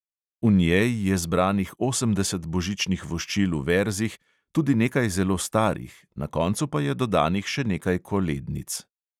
V njej je zbranih osemdeset božičnih voščil v verzih, tudi nekaj zelo starih, na koncu pa je dodanih še nekaj kolednic.